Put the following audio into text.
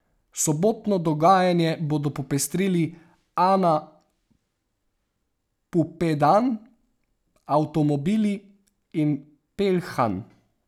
Sobotno dogajanje bodo popestrili Ana Pupedan, Avtomobili in Pelhan.